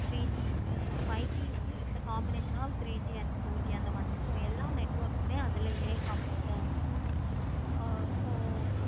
three G so five G is the combination of three G and four G அந்த மாதிரி so எல்லா network வுமே அதுலையே combined ஆஹ் இருக்கும். ஆஹ் so